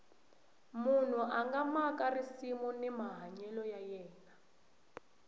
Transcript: munhu a nga maka risimu hi mahanyelo ya yena